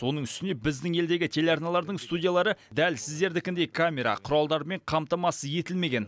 оның үстіне біздің елдегі телеарналардың студиялары дәл сіздердікіндей камера құралдармен қамтамасыз етілмеген